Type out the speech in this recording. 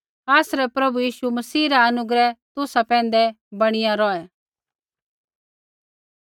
आसरै प्रभु यीशु मसीह रा अनुग्रह तुसा पैंधै बणिया रौहै